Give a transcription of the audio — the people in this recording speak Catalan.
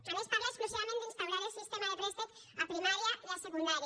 a més parla exclusivament d’instaurar el sistema de préstec a primària i a secundària